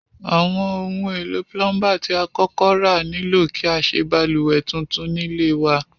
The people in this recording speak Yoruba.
Àwon oun èlò plumber ti a kókó ra nílò kí a sé balùwè tuntun nílé wa